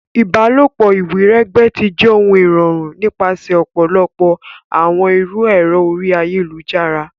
Ìbálòpọ̀ iwiregbe ti jẹ irọrun nipasẹ ọpọlọpọ awọn iru ẹrọ orí ayélujára.